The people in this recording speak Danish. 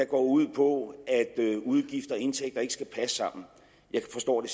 går ud på at udgifter og indtægter ikke skal passe sammen jeg forstår det